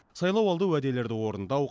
сайлауалды уәделерді орындау